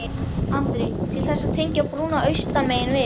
Andri: Til þess að tengja brúnna austan megin við?